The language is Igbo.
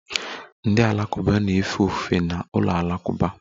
Ndị Alakụba na-efe ofufe n'ụlọ alakụba